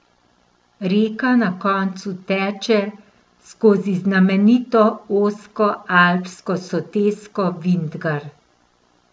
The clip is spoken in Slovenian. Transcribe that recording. Reka na koncu teče skozi znamenito ozko alpsko sotesko Vintgar.